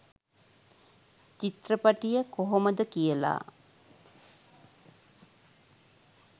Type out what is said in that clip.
චිත්‍රපටිය කොහොමද කියලා.